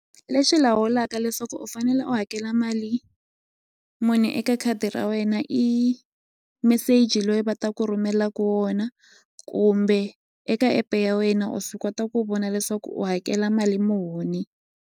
Lexi lawulaka leswaku u fanele u hakela mali muni eka khadi ra wena i meseji loyi va ta ku rhumelaku wona kumbe eka app-e ya wena u swi kota ku vona leswaku u hakela mali muni.